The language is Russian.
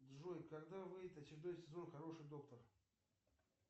джой когда выйдет очередной сезон хороший доктор